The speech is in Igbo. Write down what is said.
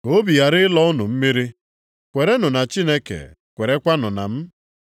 “Ka obi ghara ịlọ unu mmiri. Kwerenụ na Chineke; kwerekwanụ na m.